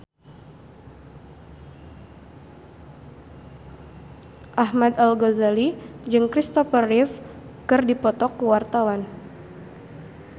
Ahmad Al-Ghazali jeung Christopher Reeve keur dipoto ku wartawan